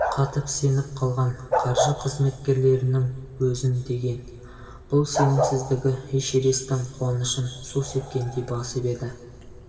қатып-семіп қалған қаржы қызмткерлерінің өзін деген бұл сенімсіздігі эшересттің қуанышын су сепкендей басып еді